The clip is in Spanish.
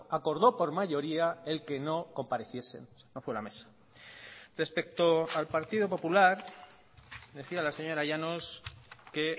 acordó por mayoría el que no compareciesen no fue la mesa respecto al partido popular decía la señora llanos que